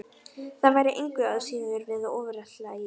Það væri engu að síður við ofurefli að etja.